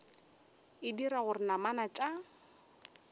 e dira gore namana tša